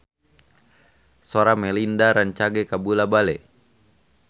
Sora Melinda rancage kabula-bale